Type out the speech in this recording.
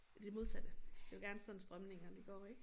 I det modsatte det jo gerne sådan strømningerne går ik